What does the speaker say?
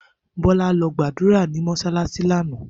Bola lo gbadura ni mosalasi lana.